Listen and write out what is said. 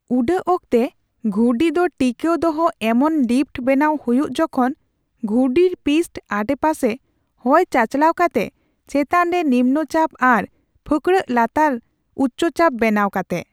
ᱩᱰᱟᱹᱜ ᱚᱠᱛᱮ ᱜᱷᱩᱨᱰᱤ ᱫᱚ ᱴᱤᱠᱟᱹᱣ ᱫᱚᱦᱚ ᱮᱢᱚᱱ ᱞᱤᱯᱷᱴ ᱵᱮᱱᱟᱣ ᱦᱩᱭᱩᱜ ᱡᱚᱠᱷᱚᱱ ᱜᱷᱩᱨᱰᱤ ᱯᱤᱥᱴᱚ ᱟᱸᱰᱮᱯᱟᱥᱮ ᱦᱚᱭ ᱪᱟᱪᱟᱞᱟᱣ ᱠᱟᱛᱮ, ᱪᱮᱛᱟᱱ ᱨᱮ ᱱᱤᱢᱱᱚᱪᱟᱯ ᱟᱨ ᱯᱷᱟᱸᱠᱲᱟᱹᱜ ᱞᱟᱛᱟᱨ ᱩᱪᱪᱚᱪᱟᱯ ᱵᱮᱱᱟᱣ ᱠᱟᱛᱮ ᱾